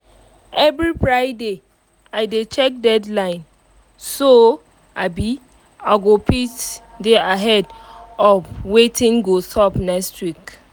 every friday i dey cheak deadline so um i go fit um dey ahead of um watin go sup next week